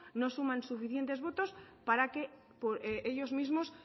no suman suficientes votos para que ellos mismos